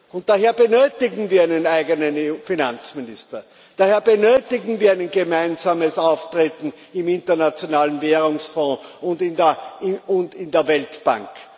Und daher benötigen wir einen eigenen EU Finanzminister, daher benötigen wir ein gemeinsames Auftreten im Internationalen Währungsfonds und in der Weltbank.